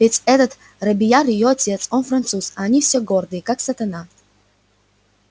ведь этот робийяр её отец он француз а они все гордые как сатана